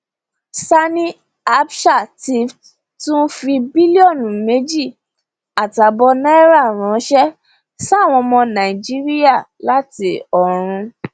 sanni abcha ti tún fi bílíọnù méjì àtààbọ náírà ránṣẹ sáwọn ọmọ nàìjíríà láti ọrun